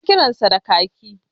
Na kiransa da kaki